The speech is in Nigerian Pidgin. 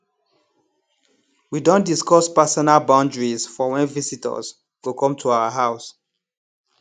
we don discuss personal boundaries for when visitors go come to our house